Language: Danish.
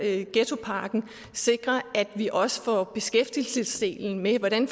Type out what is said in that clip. ghettopakken sikre at vi også får beskæftigelsesdelen med og hvordan